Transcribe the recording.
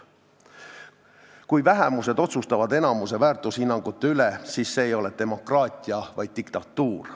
Kui vähemused otsustavad enamuse väärtushinnangute üle, siis see ei ole demokraatia, vaid diktatuur.